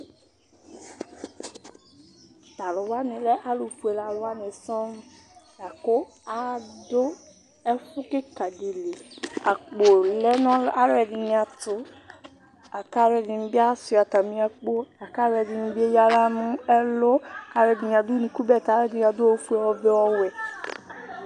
T'alʋwani lɛ alʋfue alʋ wani sɔŋ lakʋ adʋ ɛfʋ kika di li, akpo lɛ nʋ alʋ ɛdini tʋ, lak'alb ɛdini bi Asua atami akpo, lak'alʋ ɛdini bi ayǝɣla nʋ ɛlʋ, k'alʋ ɛdini adʋ onuku bɛtɛ, k'akʋ ɛdini adʋ ɔvɛ, ofue, ɔwɛ